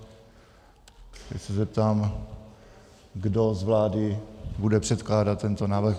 Teď se zeptám, kdo z vlády bude předkládat tento návrh.